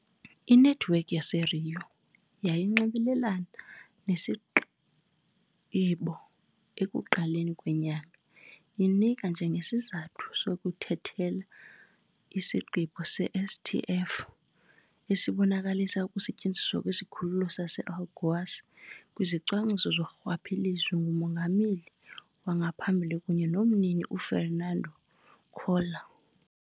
Inethiwekhi yaseRio yayinxibelelene nesigqibo ekuqaleni kwenyanga, inika njengesizathu sokuthethelela isigqibo se-STF esibonakalisa ukusetyenziswa kwesikhululo sase-Alagoas kwizicwangciso zorhwaphilizo ngumongameli wangaphambili kunye nomnini uFernando Collor.